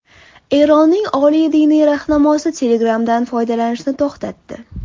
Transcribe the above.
Eronning oliy diniy rahnamosi Telegram’dan foydalanishni to‘xtatdi.